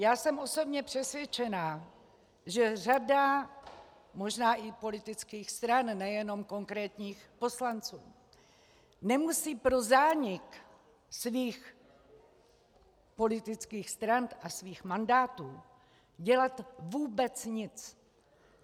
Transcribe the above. Já jsem osobně přesvědčená, že řada možná i politických stran, nejenom konkrétních poslanců, nemusí pro zánik svých politických stran a svých mandátů dělat vůbec nic.